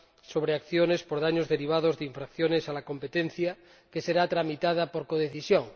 sobre acciones por daños derivados de infracciones a la competencia, que será tramitada por codecisión.